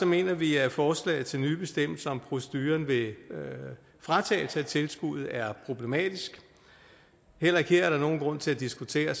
mener vi at forslaget til nye bestemmelser om proceduren ved fratagelse af tilskuddet er problematisk heller ikke her er der nogen grund til at diskutere